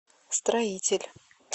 строитель